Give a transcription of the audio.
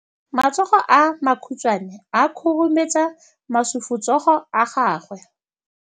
Matsogo a makhutshwane a khurumetsa masufutsogo a gago.